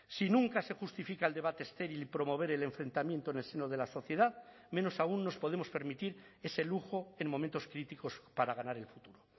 si nunca se justifica el debate estéril y promover el enfrentamiento en el seno de la sociedad menos aún nos podemos permitir ese lujo en momentos críticos para ganar el futuro